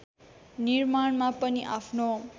निर्माणमा पनि आफ्नो